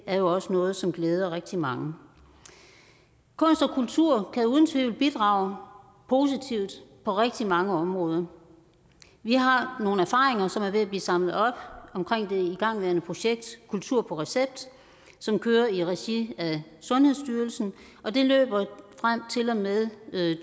er jo også noget som glæder rigtig mange kunst og kultur kan uden tvivl bidrage positivt på rigtig mange områder vi har nogle erfaringer som er ved at blive samlet op omkring det igangværende projekt kultur på recept som kører i regi af sundhedsstyrelsen og det løber frem til og med